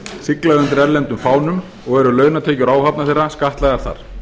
sigla undir erlendum fánum og eru launatekjur áhafna þeirra skattlagðar þar